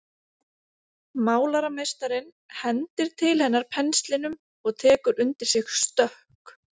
Málarameistarinn hendir til hennar penslinum og tekur undir sig stökk.